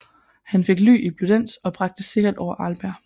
Han fik ly i Bludenz og bragt sikkert over Arlberg